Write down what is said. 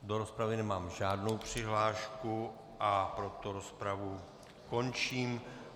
Do rozpravy nemám žádnou přihlášku, a proto rozpravu končím.